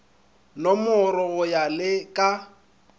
nomorwe go ya le ka